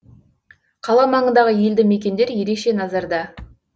қала маңындағы елді мекендер ерекше назарда